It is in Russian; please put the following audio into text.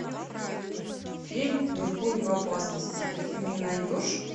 фильм меркурий в опасности ты мне найдешь